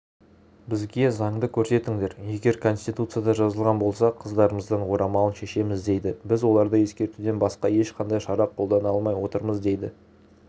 бізге заңды көрсетіңдер егер конституцияда жазылған болса қыздарымыздан орамалын шешеміз дейді біз оларды ескертуден басқа ешқандай шара қолдана алмай отырмыз дейді